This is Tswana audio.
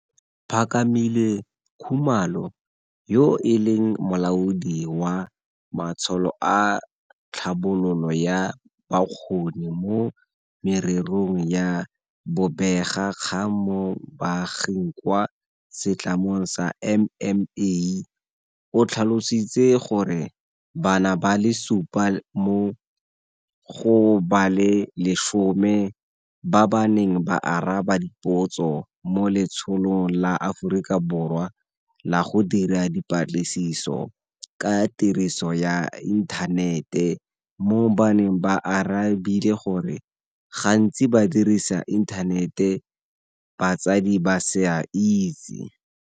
Phakamile Khumalo, yo e leng Molaodi wa Matsholo a Tlhabololo ya Bokgoni mo Mererong ya Bobega kgang mo Baaging kwa setlamong sa MMA, o tlhalositse gore bana ba le supa mo go ba le 10 ba ba neng ba araba dipotso mo Letsholong la Aforika Borwa la go Dira Dipatlisiso ka Tiriso ya Inthanete mo Baneng ba arabile gore gantsi ba dirisa inthanete batsadi ba sa itse.